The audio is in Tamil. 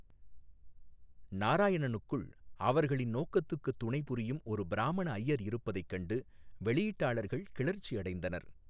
நாராயணனுக்குள், அவர்களின் நோக்கத்துக்குத் துணைபுரியும் ஒரு பிராமண ஐயர் இருப்பதைக் கண்டு வெளியீட்டாளர்கள் கிளர்ச்சியடைந்தனர்.